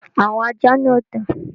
Àwọn ajá náà dà?